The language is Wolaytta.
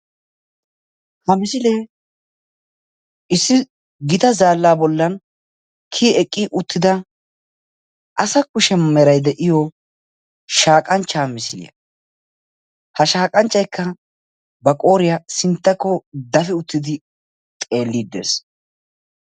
ha misiliee issi gitaa zaala bollan kiyyi eqqi uttida asa kushee meray de'iyo shaaqqanccha misiliyaa. ha shaaqqanchcaykka ba qooriyaa sinttakko dapi uttidi xeellide dees.